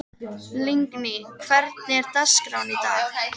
Lingný, hvernig er dagskráin í dag?